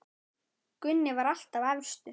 Gunni var alltaf efstur.